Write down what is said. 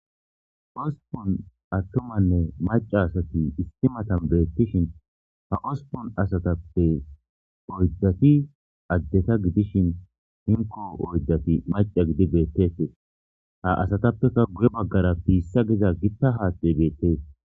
Hosppun attumanne maca asati issi matan beettishin ha hosppun asatappe oyddati addeta gidishin hinkko oyddati maca gidi beettetes ha asatappeka guye baggara piissa giza gitta haaththey beettees